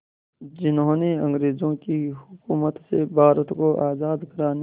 जिन्होंने अंग्रेज़ों की हुकूमत से भारत को आज़ाद कराने